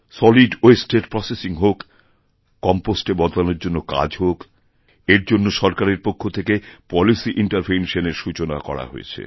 solid waste এর processing হোক compost এ বদলানোর জন্যকাজ হোক এর জন্য সরকারের পক্ষ থেকে পলিসিইন্টারভেনশন এরও সূচনা করা হয়েছে